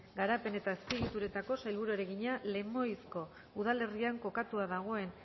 garapen eta azpiegituretako sailburuari egina lemoizko udalerrian kokatua dagoen